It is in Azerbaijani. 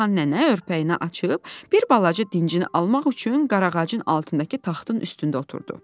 Reyhan nənə örpəyini açıb, bir balaca dincini almaq üçün qarağacın altındakı taxtın üstündə oturdu.